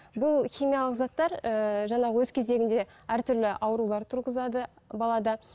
бұл химиялық заттар ііі жаңағы өз кезегінде әртүрлі аурулар туғызады балада